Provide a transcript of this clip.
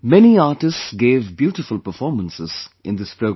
Many artists gave beautiful performances in this program